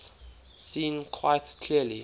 seen quite clearly